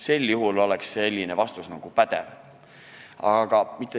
Sel juhul oleks selline vastus nagu pädev.